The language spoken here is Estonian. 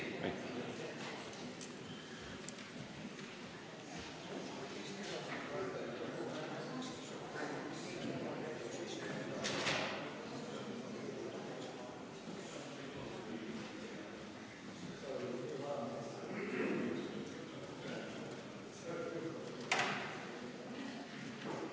V a h e a e g